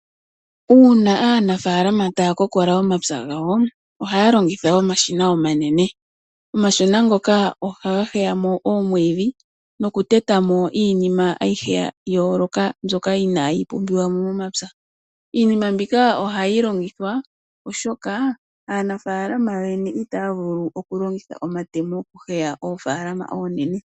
Uuna aanafalama taa kokola omapya gawo ohaya longitha omashina omanene. Omashina ngoka ohaga heya mo oomwiidhi, nokuteta mo iinima ayihe ya yooloka mbyoka inayi pumbiwa mo momapya. Iinima mbika ohayi longithwa oshoka aanafalama yoyene itaya vulu okulongitha omatemo okuheya oofalama oonene.